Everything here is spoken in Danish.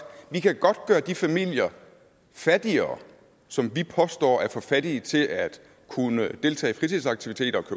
vi kan godt gøre de familier fattigere som vi påstår er for fattige til at kunne deltage i fritidsaktiviteter og